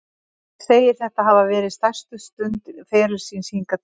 Hann segir þetta hafa verið stærstu stund ferils síns hingað til.